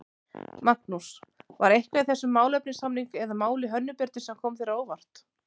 Magnús: var eitthvað í þessum málefnasamning eða máli Hönnu Birnu sem kom þér á óvart?